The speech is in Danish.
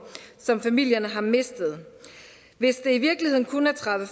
som familierne har mistet hvis det i virkeligheden kun er tredive